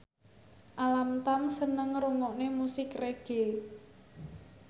Alam Tam seneng ngrungokne musik reggae